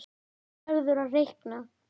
Þú verður að reikna